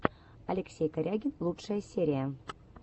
алексей корягин лучшая серия